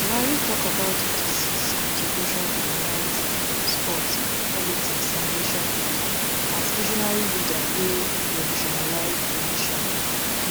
buhari tok about di deceased contributions to journalism sports politics and nationbuilding as visionary leader wey revolutionised di nation